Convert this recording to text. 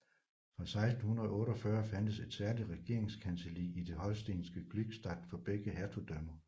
Fra 1648 fandtes et særligt regeringskancelli i det holstenske Glückstadt for begge hertugdømmer